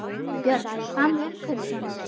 Björn: Hvað með umhverfissjónarmið?